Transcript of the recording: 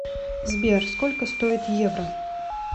сбер сколько стоит евро